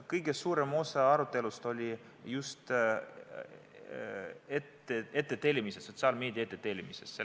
Kõige suurem osa arutelust oli just ettetellimise, sotsiaalmeedias ettetellimise üle.